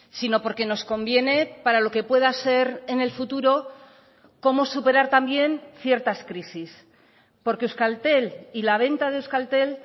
sino porque nos conviene para lo que pueda ser en el futuro cómo superar también ciertas crisis porque euskaltel y la venta de euskaltel